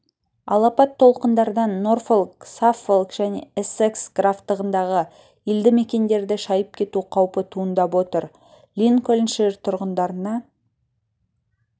алапат толқындардан норфолк саффолк және эссекс графтығындағы елді мекендерді шайып кету қаупі туындап отыр линкольншир тұрғындарына